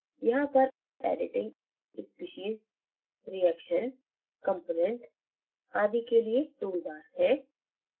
यहाँ पर editing species reactions component आदि के लिए toolbars हैं